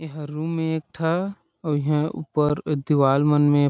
यहाँ रूम एक ठा और यहाँ ऊपर ई दीवाल मन में --